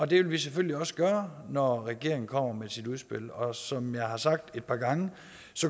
det vil vi selvfølgelig også gøre når regeringen kommer med sit udspil og som jeg har sagt et par gange